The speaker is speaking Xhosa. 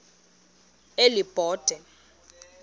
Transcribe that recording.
elibode